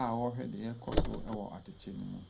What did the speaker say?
a ɔɔhwɛ deɛ ɛɛkɔso ɛwɔ atɛkyɛ no mu.